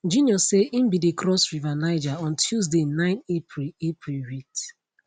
junior say im bin dey cross river niger on tuesday 9 april april wit